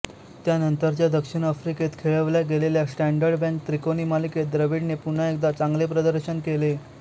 त्यानंतरच्या दक्षिण आफ्रिकेत खेळवल्या गेलेल्या स्टॅंडर्ड बँक त्रिकोणी मालिकेत द्रविडने पुन्हा एकदा चांगले प्रदर्शन केले